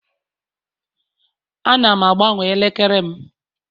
Ana m agbanwe elekere m